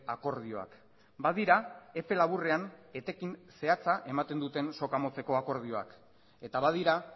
akordioak badira epe laburrean etekin zehatza ematen duten soka motzeko akordioak eta badira